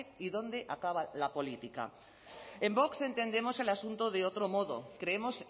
y dónde acaba la política en vox entendemos el asunto de otro modo creemos